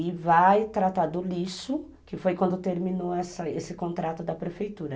E vai tratar do lixo, que foi quando terminou esse contrato da prefeitura.